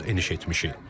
Biz artıq eniş etmişik.